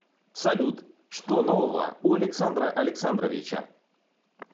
салют что нового у александра александровича